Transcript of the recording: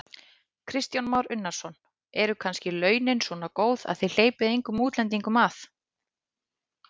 Kristján Már Unnarsson: Eru kannski launin svona góð að þið hleypið engum útlendingum að?